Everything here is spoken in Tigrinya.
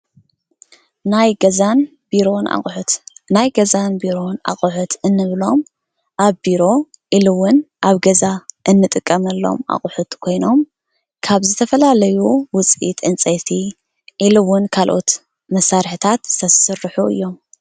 ናይ ገዛን ቢሮን ኣቑሑት፦ ናይ ገዛን ቢሮን አቁሑት እንብሎም ኣብ ቢሮ ኢሉ እውን ኣብ ገዛ እንጥቀመሎም አቁሑት ኮይኖም ካብ ዝተፈላለዩ ውፅኢት ዕንፀይቲ ኢሉ እውን ካልኦት መሳርሕታት ዝስርሑ እዮም።